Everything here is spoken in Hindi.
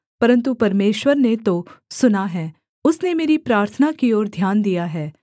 परन्तु परमेश्वर ने तो सुना है उसने मेरी प्रार्थना की ओर ध्यान दिया है